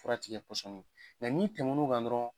Fura ti kɛ pɔsɔni ye n'i tɛmɛn'o kan dɔrɔn